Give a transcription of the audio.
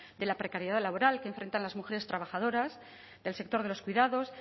de la precariedad laboral que afecta a las mujeres trabajadoras del sector de los cuidados